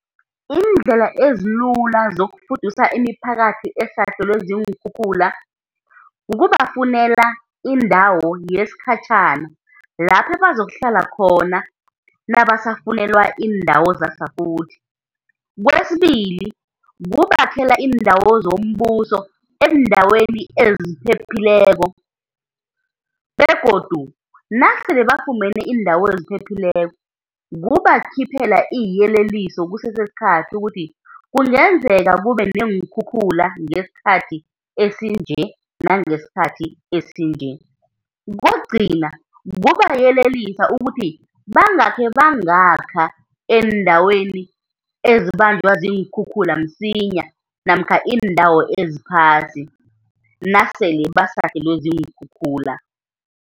Iindlela ezilula zokufudusa imiphakathi esahlelwe ziinkhukhula, kukubafunela indawo yesikhatjhana lapho abazokuhlala khona nabasafunelwa iindawo zasafuthi. Kwesibili, kukubakhela iindawo zombuso eendaweni eziphephileko, begodu nasele bafumene iindawo eziphephileko kukubakhiphela iiyeleliso kusese sikhathi ukuthi kungenzeka kube neenkhukhula ngesikhathi esinje nangesikhathi esinje. Kokugcina kukubayelelisa ukuthi bangakhe bangakha eendaweni ezibanjwa ziinkhukhula msinya namkha iindawo eziphasi nasele basahlelwe ziinkhukhula.